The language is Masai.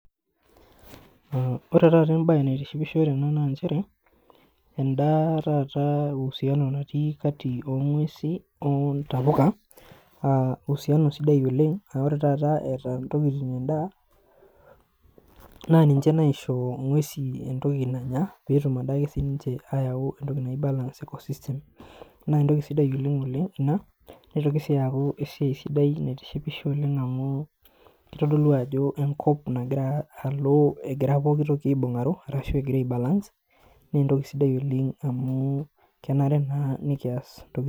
Ore taata em'bae naitishipisho tene naa njere, en'da taata usiano natii kati oong'wesi ontapuka aah usiano sidai oleng' aa ore taata eeta ntokiting' en'daa naa ninje naisho ng'wesi entoki nanya peetum ade siininje ayau entoki nai balance ecosystem naa entoki sidai oleng' oleng' ina neitoki sii aaku esiai sidai naitishipisho oleng amu keitodulu ajo engop nagira alo egira pookitoki aibungaro arashu egira aibalans naa entoki sidai oleng amu kenare naa nekias